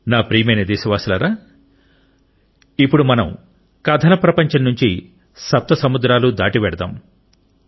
నా ప్రియమైన దేశవాసులారా రండి ఇప్పుడు మనం కథల ప్రపంచం నుండి సప్త సముద్రాలు దాటి వెళ్దాం